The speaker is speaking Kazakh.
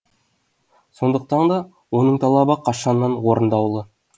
сондықтан да оның талабы қашаннан орындаулы